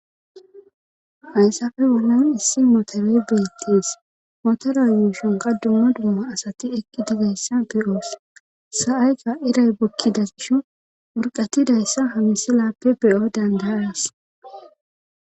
hayssafe bollan issi moteerey beettees motora yuushun dumma dumma asati eqqi dizayssa beyoos sa7ayka iray bokkidas gisho wurqatidayssa hamisilappe be7o dandayaas